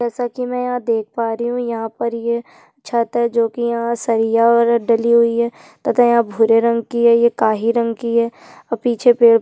जैसा कि मै यहाँ पर देख पा रही हूँ यहाँ पर ये छत है जो की यह सरिया वगैरह डली हुई है तथा यह भुरे रंग कि है ये काली रंग कि है और पीछे पेड --